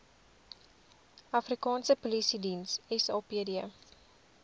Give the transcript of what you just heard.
afrikaanse polisiediens sapd